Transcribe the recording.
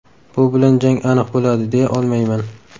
Bu bilan jang aniq bo‘ladi, deya olmayman.